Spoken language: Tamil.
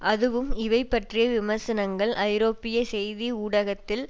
அதுவும் இவை பற்றிய விமர்சனங்கள் ஐரோப்பிய செய்தி ஊடகத்தில்